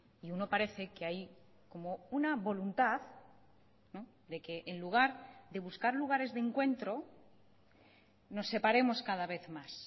y uno parece que hay como una voluntad de que en lugar de buscar lugares de encuentro nos separemos cada vez más